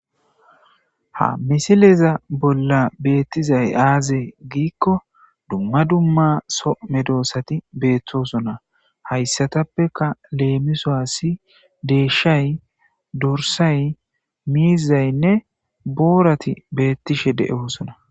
Ha misileza bolla beettizay aaze giikko dumma dumma so medoossati beettoosona hayssatappeka leemiso asi deeshay, dorsay miizaynne boorati beettishe de'oosona.